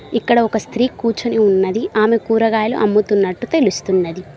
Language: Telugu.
ఇక్కడ ఒక స్త్రీ కూర్చుని ఉన్నది ఆమె కూరగాయలు అమ్ముతున్నట్టు తెలుస్తున్నది.